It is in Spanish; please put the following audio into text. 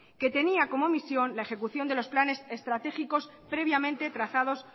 que tenía como misión la ejecución de los planes estratégicos previamente trazados